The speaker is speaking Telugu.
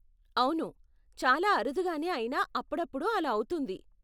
అవును, చాలా అరుదుగానే అయినా అప్పుడప్పుడు అలా అవుతుంది.